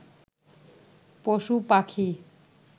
পশুপাখি